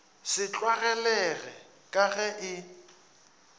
se tlwaelege ka ge e